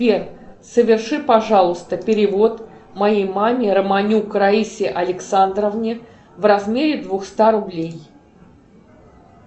сбер соверши пожалуйста перевод моей маме романюк раисе александровне в размере двухста рублей